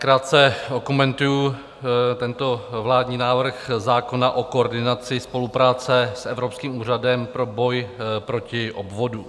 Krátce okomentuji tento vládní návrh zákona o koordinaci spolupráce s Evropským úřadem pro boj proti podvodům.